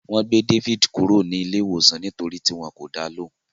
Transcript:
Wọ́n gbé David kúrò ní ilé iwosan nítorí tí wọn kò dá wọn lóhùn.